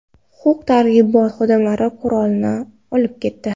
Huquq-tartibot xodimlari qurolni olib ketdi.